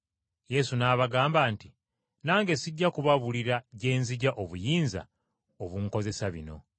Yesu n’abagamba nti, “Nange sijja kubabuulira gye nzigya obuyinza obunkozesa bino.”